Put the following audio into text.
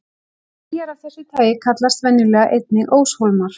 Eyjar af þessu tagi kallast venjulega einnig óshólmar.